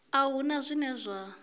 a hu na zwine zwa